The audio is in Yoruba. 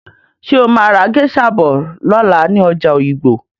Ṣé o máa ra géṣa bọ̀ lọ́la ní ọjà òyìngbò?